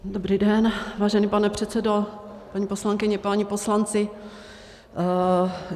Dobrý den, vážený pane předsedo, paní poslankyně, páni poslanci.